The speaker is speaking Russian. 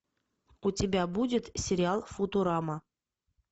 у тебя будет сериал футурама